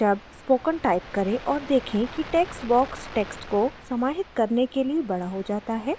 शब्द spoken type करें और देखें कि text box text को समाहित करने के लिए बड़ा हो जाता है